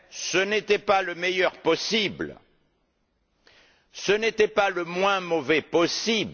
Ce n'était pas le meilleur possible, ce n'était pas le moins mauvais possible.